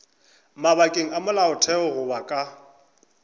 mabakeng a molaotheo goba ka